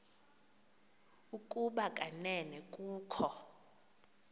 ukuba kanene kukho